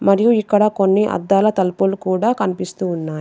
మరియు ఇక్కడ కొన్ని అద్దాల తలుపులు కూడా కనిపిస్తూ ఉన్నాయి.